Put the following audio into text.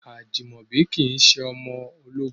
Ajimobi kìí ṣe ọmọ ológun.